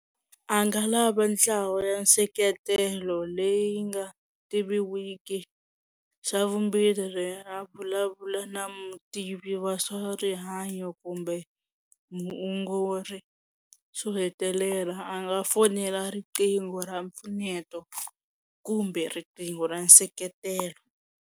A nga lava ntlawa ya nseketelo leyi nga tiviwiki xa vumbirhi a vulavula na mutivi wa swa rihanyo kumbe muongori xo hetelela a nga fonela riqingho ra mpfuneto kumbe riqingho ra nseketelo.